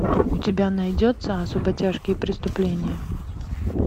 у тебя найдется особо тяжкие преступления